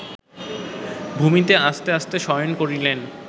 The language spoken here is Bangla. ভূমিতে আস্তে আস্তে শয়ন করিলেন